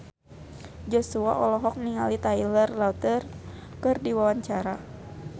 Joshua olohok ningali Taylor Lautner keur diwawancara